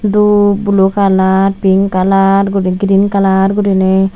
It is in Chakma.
dup blue kalar pink kalar guri grin kalar gurinei.